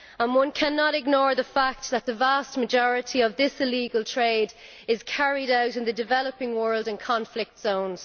One cannot ignore the fact that the vast majority of this illegal trade is carried out in the developing world in conflict zones.